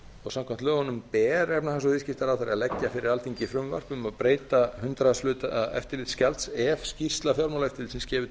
og samkvæmt lögunum ber efnahags og viðskiptaráðherra að leggja fyrir alþingi frumvarp um að breyta hundraðshluta eftirlitsgjald ef skýrsla fjármálaeftirlitsins gefur